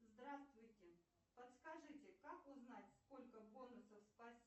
здравствуйте подскажите как узнать сколько бонусов спасибо